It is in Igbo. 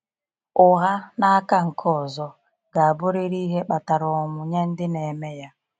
Ụgha, n’aka nke ọzọ, ga-abụrịrị ihe kpatara ọnwụ nye ndị na-eme ya.